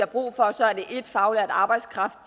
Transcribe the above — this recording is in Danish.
brug for så er det 1 faglært arbejdskraft